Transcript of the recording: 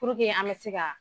an bɛ se ka